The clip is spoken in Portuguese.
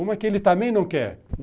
Uma que ele também não quer.